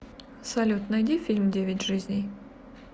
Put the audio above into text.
салют найди фильм девять жизней